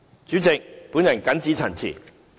主席，我謹此陳辭。